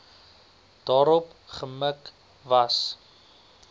daarop gemik was